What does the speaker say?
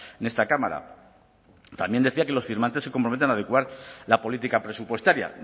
en esta cámara también decía que los firmantes se comprometen a adecuar la política presupuestaria